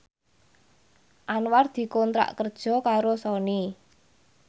Anwar dikontrak kerja karo Sony